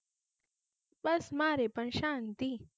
બસ, મારે પણ શાંતિ